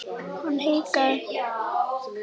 Hann hikaði.